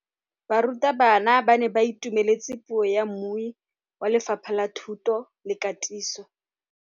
Barutabana ba ne ba itumeletse puô ya mmui wa Lefapha la Thuto le Katiso.